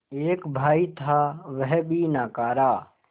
एक भाई था वह भी नाकारा